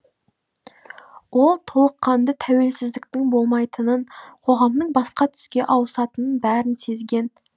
ол толыққанды тәуелсіздіктің болмайтынын қоғамның басқа түске ауысатынының бәрін сезген